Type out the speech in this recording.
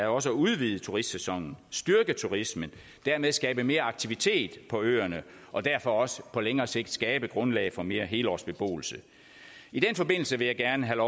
også at udvide turistsæsonen at styrke turismen og dermed skabe mere aktivitet på øerne og derfor også på længere sigt skabe et grundlag for mere helårsbeboelse i den forbindelse vil jeg gerne have